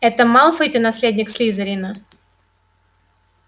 это малфой-то наследник слизерина